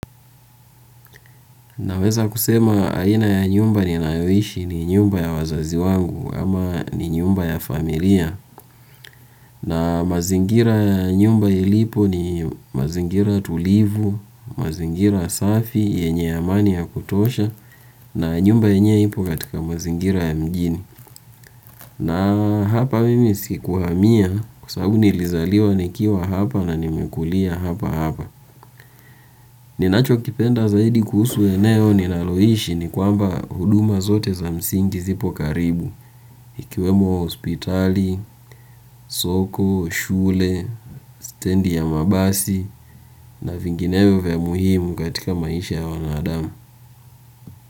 Naweza kusema aina ya nyumba ninayoishi ni nyumba ya wazazi wangu ama ni nyumba ya familia na mazingira nyumba ilipo ni mazingira tulivu, mazingira safi, yenye amani ya kutosha na nyumba yenyewe ipo katika mazingira ya mjini. Na hapa mimi sikuhamia kwa sababu nilizaliwa nikiwa hapa na nimekulia hapa hapa. Ninachokipenda zaidi kuhusu eneo ninaloishi ni kwamba huduma zote za misingi zipo karibu. Ikiwemo hospitali, soko, shule, stendi ya mabasi na vingineo vya muhimu katika maisha ya wanadamu.